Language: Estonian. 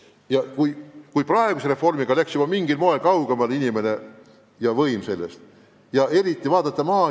Juba praeguse reformiga on omavalitsused mingil moel inimestest kaugemale läinud, võim on kaugenenud, eriti muidugi maal.